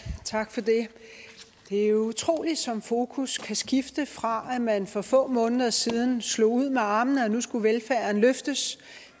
tak for det det er utroligt som fokus kan skifte fra at man for få måneder siden slog ud med armene og sagde at nu skulle velfærden løftes